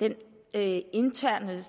den interne